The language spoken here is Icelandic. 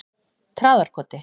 Traðarkoti